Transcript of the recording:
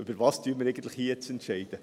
Worüber entscheiden wir hier eigentlich?